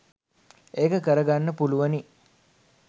ඒක කරගන්න පුළුවනි.